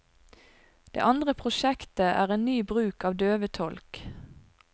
Det andre prosjektet, er en ny bruk av døvetolk.